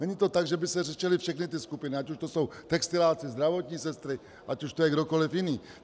Není to tak, že by se řešily všechny ty skupiny, ať už to jsou textiláci, zdravotní sestry, ať už to je kdokoli jiný.